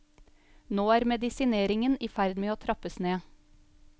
Nå er medisineringen i ferd med å trappes ned.